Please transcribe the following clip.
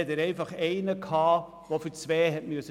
Dann hatte er einfach einen, der für zwei arbeiten musste.